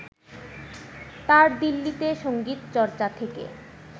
তাঁর দিল্লীতে সঙ্গীত চর্চা থেকে